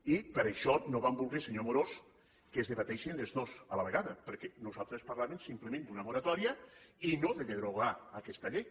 i per això no vam voler senyor amorós que es debatessin les dos a la vegada perquè nosaltres parlàvem simplement d’una moratòria i no de derogar aquesta llei